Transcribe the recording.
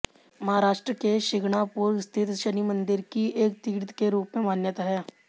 महाराष्ट्र के शिंगणापुर स्थित शनि मंदिर की एक तीर्थ के रुप में मान्यता है